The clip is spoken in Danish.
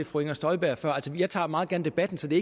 fru inger støjberg før jeg tager meget gerne debatten så det